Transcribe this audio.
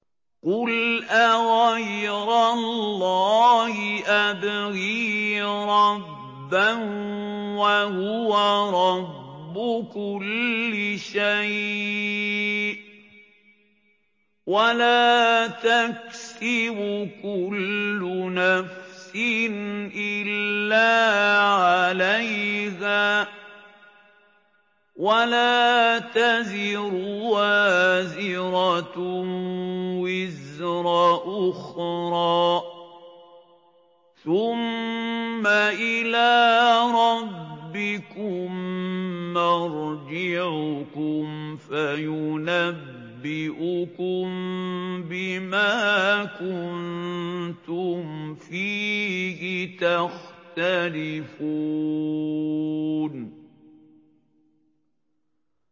قُلْ أَغَيْرَ اللَّهِ أَبْغِي رَبًّا وَهُوَ رَبُّ كُلِّ شَيْءٍ ۚ وَلَا تَكْسِبُ كُلُّ نَفْسٍ إِلَّا عَلَيْهَا ۚ وَلَا تَزِرُ وَازِرَةٌ وِزْرَ أُخْرَىٰ ۚ ثُمَّ إِلَىٰ رَبِّكُم مَّرْجِعُكُمْ فَيُنَبِّئُكُم بِمَا كُنتُمْ فِيهِ تَخْتَلِفُونَ